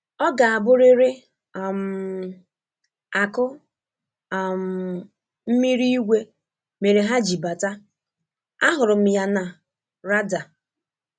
Ọ ga abụriri um akụ um mmiri ígwé mere ha ji bata, a hụrụ m ya na "rada"